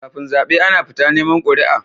Kafin zabe Ana fita neman quri'a